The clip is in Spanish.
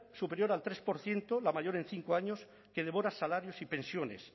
superior al tres por ciento la mayor en cinco años que devora salarios y pensiones